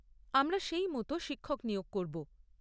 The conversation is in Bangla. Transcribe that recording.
আমরা সেই মতো শিক্ষক নিয়োগ করব।